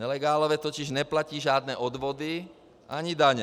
Nelegálové totiž neplatí žádné odvody ani daně.